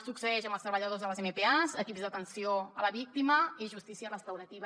succeeix amb els treballadors de les mpas equips d’atenció a la víctima i justícia restaurativa